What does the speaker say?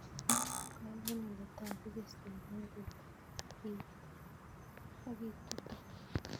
Kol eng' ole tagu keswek eng' tuta ak itutuu